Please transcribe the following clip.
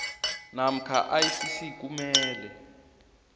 namkha icc kumele